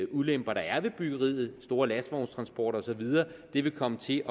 ulemper der er ved byggeriet store lastvognstransporter og så videre vil komme til